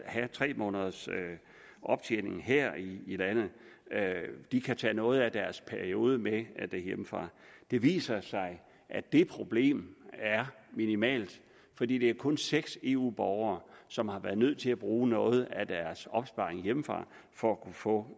have tre måneders optjening her i landet de kan tage noget af deres periode med hjemmefra det viser sig at det problem er minimalt fordi det kun er seks eu borgere som har været nødt til at bruge noget af deres opsparing hjemmefra for at kunne få